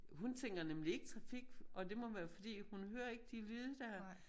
Hun tænker nemlig ikke trafik og det må være fordi hun hører ikke de lyde dér